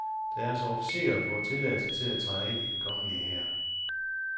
Deres officerer får tilladelse til at træde ind i den kongelige hær.